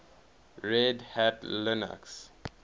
red hat linux